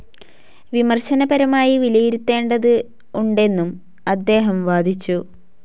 വിമർശനപരമായി വിലയിരുത്തേണ്ട്തുണ്ടെന്നും അദ്ദേഹം വാദിച്ചു.